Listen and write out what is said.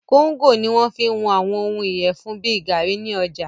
Kóńgò ní wọ́n fí ń wọn àwọn òhún ìyẹfun bìí gaàrí ní ọjà.